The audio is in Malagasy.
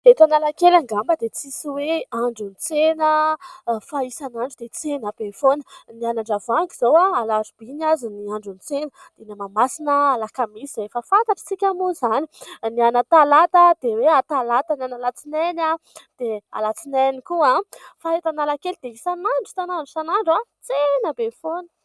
Eto Analakely angamba dia tsisy hoe andro tsena fa hisan'andro dia tsena be foana. Ny any Andravoangy izao a! alarobia ny azy ny androan'ny tsena ; eny Mahamasina alakamisy efa fantantsika moa izany ; ny any Talata dia hoe hatalata, ny any alatsinainy a ! dia alatsinainy koa. Fa eto analakely dia isan'andro isan'andro isan'andro a ! tsena be foana.